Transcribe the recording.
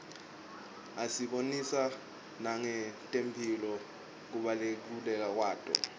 asibonisa nangetemphilo kubaluleka kwato